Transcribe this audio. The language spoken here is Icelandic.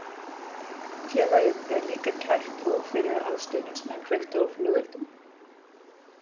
Félagið er líka kært og fyrir að stuðningsmenn kveiktu á flugeldum.